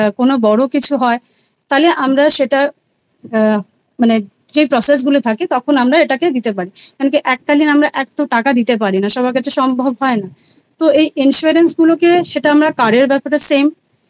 কোনো বড় কিছু হয় তালে আমরা সেটা আ মানে যে process গুলো থাকে তখন আমরা এটাকে দিতে পারি কিন্ত এককালীন আমরা এত টাকা দিতে পারি না সবার কাছে সম্ভব হয় না তো এই Insurance গুলোকে সেটা কাজের ব্যাপারে Same